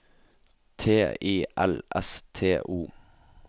T I L S T O